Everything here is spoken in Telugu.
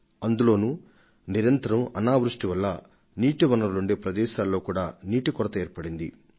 అంతకు మించి గత రెండు సంవత్సరాలుగా వరుసగా దుర్భిక్షం ఎదురవడంతో మామూలుగా నీరు నిల్వ ఉండే ప్రదేశాలపై ప్రతికూల ప్రభావం పడింది